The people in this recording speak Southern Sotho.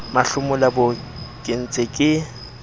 mahlomola boo ke ntseng ke